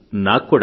నాకు కూడా